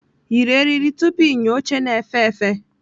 Yiri eriri tupu ịnya oche na-efe efe!